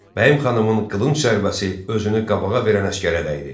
Bəyim xanımın qılınc zərbəsi özünü qabağa verən əsgərə dəydi.